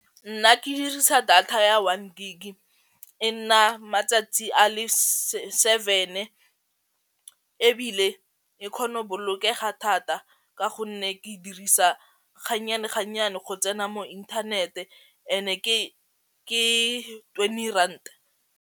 Nna ke dirisa data ya one gig e nna matsatsi a le seven ebile e kgono bolokega thata ka gonne ke dirisa ga nnyane ga nnyane go tsena mo inthanete and-e ke twenty rand.